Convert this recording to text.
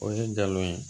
O ye galon ye